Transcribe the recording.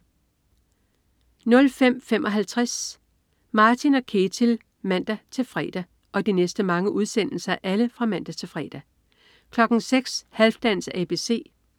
05.55 Martin & Ketil (man-fre) 06.00 Halfdans ABC (man-fre)